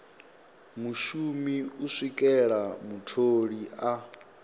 mushumi u swikela mutholi a